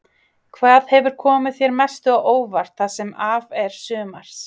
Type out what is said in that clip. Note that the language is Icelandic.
Hvað hefur komið þér mest á óvart það sem af er sumars?